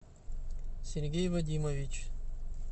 сергей вадимович